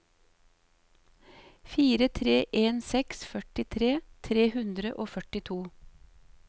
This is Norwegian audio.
fire tre en seks førtitre tre hundre og førtito